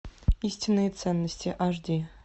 истинные ценности аш ди